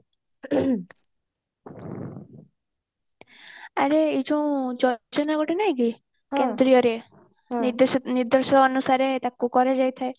ଆରେ ଏ ଯୋଉ ଯୋଜନା ଗୋଟେ ନାଇଁ କି ନିର୍ଦେଶ ଅନୁସାରେ ତାକୁ କରାଯାଇ ଥାଏ